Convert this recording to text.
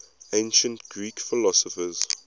ancient greek philosophers